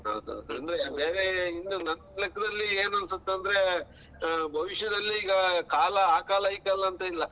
ಹೌದ್ ಹೌದು ಅಂದ್ರೆ ಬೇರೇ ಇನ್ನು ನನ್ ಲೆಕ್ಕದಲ್ಲಿ ಏನ್ ಅನ್ಸತ್ ಅಂದ್ರೆ ಆ ಭವಿಷ್ಯದಲ್ಲಿ ಈಗ ಕಾಲ ಆ ಕಾಲ ಈ ಕಾಲ ಅಂತ ಇಲ್ಲ.